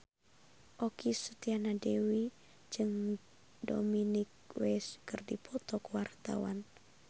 Okky Setiana Dewi jeung Dominic West keur dipoto ku wartawan